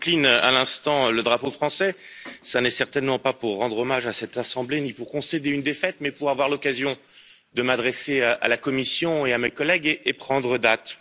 Madame la Présidente, si j'incline à l'instant le drapeau français, ce n'est certainement pas pour rendre hommage à cette assemblée ni pour concéder une défaite, mais pour avoir l'occasion de m'adresser à la Commission et à mes collègues et prendre date.